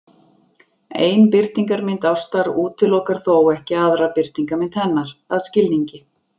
Ein birtingarmynd ástar útilokar þó ekki aðra birtingarmynd hennar, að skilningi